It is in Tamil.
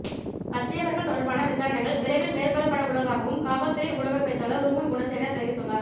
மற்றையவர்கள் தொடர்பான விசாரணைகள் விரைவில் மேற்கொள்ளப்படவுள்ளதாகவும் காவற்துறை ஊடக பேச்சாளர் ருவன் குணசேகர தெரிவித்துள்ளார்